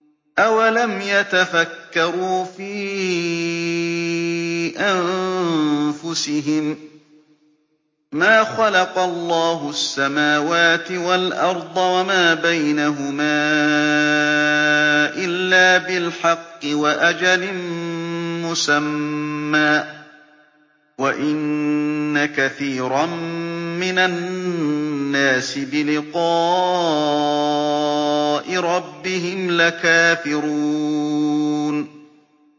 أَوَلَمْ يَتَفَكَّرُوا فِي أَنفُسِهِم ۗ مَّا خَلَقَ اللَّهُ السَّمَاوَاتِ وَالْأَرْضَ وَمَا بَيْنَهُمَا إِلَّا بِالْحَقِّ وَأَجَلٍ مُّسَمًّى ۗ وَإِنَّ كَثِيرًا مِّنَ النَّاسِ بِلِقَاءِ رَبِّهِمْ لَكَافِرُونَ